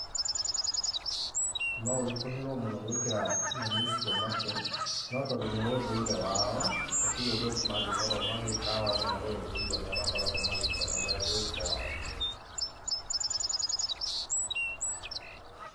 No ũritũhĩrwo mũno gwĩkĩra nyamũ icio matũ, no tondũ nĩ ũndũire wao, hatirĩ ũndũ ũngĩ mangĩkorwo magĩka, o andũ marĩ ũndũire ũrĩa makoragwo magĩkenerera gĩkwao.